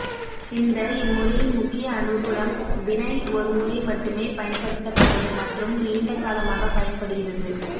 இந்த இம்முறையின் முக்கிய அனுகூலம் வினைல் ஒருமுறை மட்டுமே பயன்படுத்தப்படும் மற்றும் நீண்ட காலமாக பயன்படுகிறது